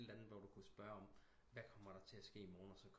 Spørg om et eller andet hvad kommer der til at ske i morgen og så